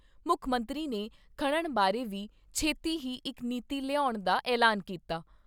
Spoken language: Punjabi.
ਮੁੱਖ ਮੰਤਰੀ ਨੇ ਖਨਣ ਬਾਰੇ ਵੀ ਛੇਤੀ ਹੀ ਇਕ ਨੀਤੀ ਲਿਆਉਣ ਦਾ ਐਲਾਨ ਕੀਤਾ।